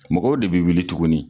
Mɔgɔw de bɛ wuli tuguni.